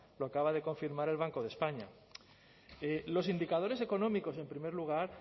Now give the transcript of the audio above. lo acaba de confirmar el banco de españa los indicadores económicos en primer lugar